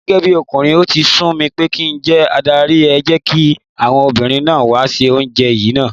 Gẹ́gẹ́bí ọkùnrin, ó ti sú mi pé kí njẹ́ adarí, ẹ jẹ́kí àwọn obìnrin náà wá ṣe ojúṣe yìí náà.